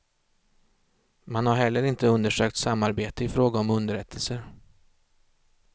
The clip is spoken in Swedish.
Man har heller inte undersökt samarbete i fråga om underrättelser.